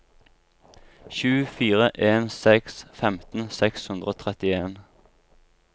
sju fire en seks femten seks hundre og trettien